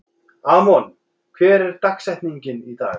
Amon, hver er dagsetningin í dag?